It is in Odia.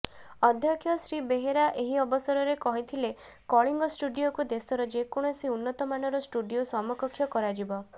ଅଧ୍ୟକ୍ଷ ଶ୍ରୀ ବେହେରା ଏହି ଅବସରରେ କହିଥିଲେ କଳିଙ୍ଗ ଷ୍ଟୁଡିଓକୁ ଦେଶର ଯେକୌଣସି ଉନ୍ନତମାନର ଷ୍ଟୁଡିଓ ସମକକ୍ଷ କରାଯିବ